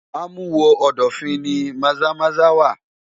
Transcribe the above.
Amuwo-odofin ni Maza-Maza wà.